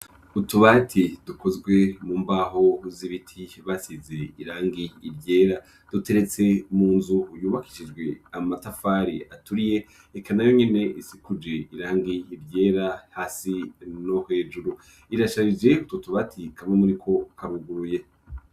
Utubati dukozwe mu mbaho z'ibiti basize irangi iryera duteretse mu nzu yubakishijwe amatafari aturiye eka nayo nyene isikuje irangi iryera hasi no hejuru irasharije kutubati kamwe muriko karuguye.